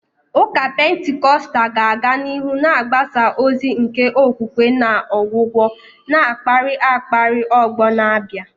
Ụka Pentikọstal ga-aga n'ihu na-agbasa ozi nke okwukwe na ọgwụgwọ, na-akpali akpali ọgbọ na-abịa.